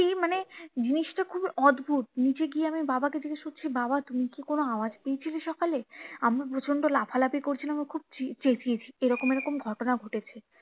মানে জিনিসটা খুবই অদ্ভুদ নিচে গিয়ে আমি বাবাকে জিজ্ঞেস করছি বাবা তুমি কি কোনো আওয়াজ পেয়েছিলে সকালে আমরা প্রচন্ড লাফালাফি করছিলাম বা খুব চেঁচিয়েছি এরকম এরকম ঘটনা ঘটেছে